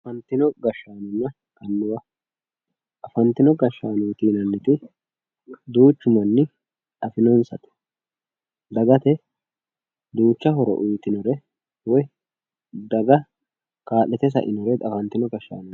Afantino gashshanonna annuwa afantino gashshannooti yinanniti duuchu manni afinonsate dagate duucha horo uyitinore woy daga ka'litte sainore afantino gashshanooti